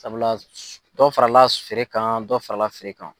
Sabula dɔ farala feere kan dɔ farala feere kan.